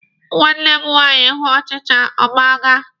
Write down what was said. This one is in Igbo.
Nwanne m nwaanyị hụ ọchịcha, ọ gbalaga.